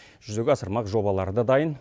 жүзеге асырмақ жобалары да дайын